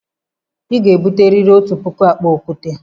Ị ga-ebute riri otu puku akpa okwute!